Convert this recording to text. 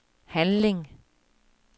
handling